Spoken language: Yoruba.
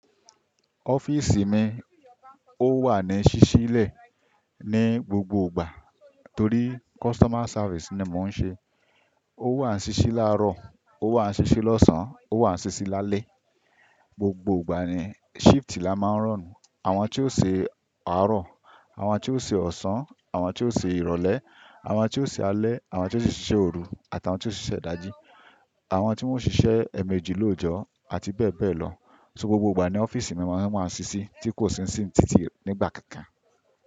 Ọ́fíìsì mi, o wà ní ṣíṣí lẹ̀ ní gbogbo ìgbà torí customer service ni mo ń ṣe. Ó wà ní ṣíṣí làárọ̀, ó wà ní ṣíṣí lọ́sàn-án, ó wà ní ṣíṣí lálẹ́. Gbogbo ìgbà ni shift la máa ń run Àwọn tí ó ṣe àárọ̀, àwọn tí ó ṣe ọ̀sán, àwọn tí ó ṣe ìrọ̀lẹ́, àwọn tí ó ṣe alẹ́, àwọn tí ó ṣiṣẹ́ òru àti àwọn tí ó ṣiṣẹ́ ìdajì. Àwọn tí wọ́n ó ṣiṣẹ́ èèmejì lóòjọ́ àti bẹ́ẹ̀ bẹ́ẹ̀ lọ. So gbogbo ìgbà ni ọ́fíìsì mi máa ń ṣíṣí tí kò sí nísinsinyí títí nígbà kan kan.